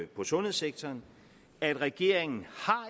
på sundhedssektoren at regeringen